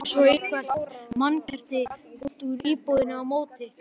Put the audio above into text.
Drógu svo eitthvert mannkerti út úr íbúðinni á móti.